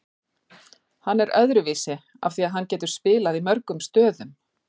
Hann er öðruvísi af því að hann getur spilað í mörgum stöðum.